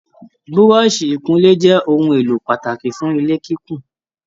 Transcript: Búrọ́sì ikúnlé jẹ ohùn èlò pàtàkì fún ilé kíkún.